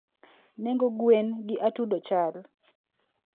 nengo gwen gi atudo chal?